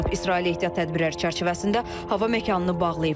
İsrail ehtiyat tədbirləri çərçivəsində hava məkanını bağlayıb.